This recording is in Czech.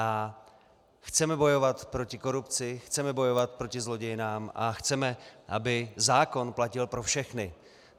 A chceme bojovat proti korupci, chceme bojovat proti zlodějnám a chceme, aby zákon platil pro všechny.